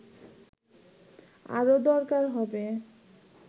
আরও দরকার হবে